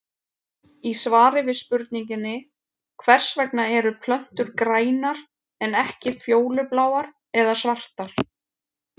Í svari við spurningunni Hvers vegna eru plöntur grænar en ekki fjólubláar eða svartar?